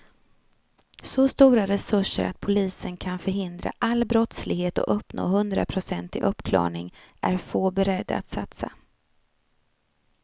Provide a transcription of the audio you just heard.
Så stora resurser att polisen kan förhindra all brottslighet och uppnå hundraprocentig uppklarning är få beredda att satsa.